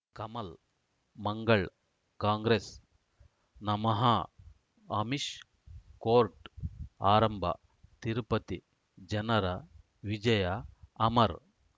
ಕಮಲ್ ಮಂಗಳ್ ಕಾಂಗ್ರೆಸ್ ನಮಃ ಅಮಿಷ್ ಕೋರ್ಟ್ ಆರಂಭ ತಿರುಪತಿ ಜನರ ವಿಜಯ ಅಮರ್